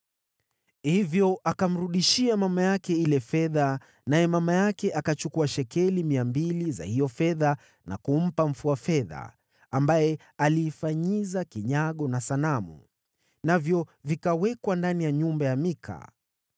Hivyo akamrudishia mama yake ile fedha, naye mama yake akachukua shekeli mia mbili za hiyo fedha na kumpa mfua fedha, ambaye aliifanyiza kinyago na sanamu. Navyo vikawekwa ndani ya nyumba ya Mika.